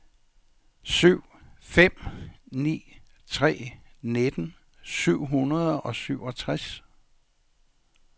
syv fem ni tre nitten syv hundrede og syvogtres